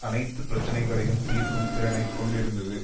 அனைத்து பிரச்சினைகளையும் தீர்க்கும் திறனை கொண்டிருந்தது